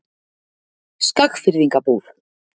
Skagfirðingabúð